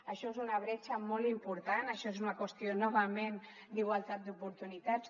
això és una bretxa molt important això és una qüestió novament d’igualtat d’oportunitats